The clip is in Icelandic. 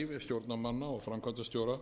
áherslu á kröfur um hæfi stjórnarmanna og framkvæmdastjóra